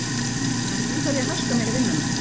En nú þarf ég að haska mér í vinnuna.